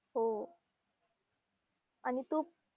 हो आणि तू